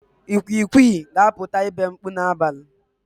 Ikwikwi ga-apụta ibe mkpu n'abalị.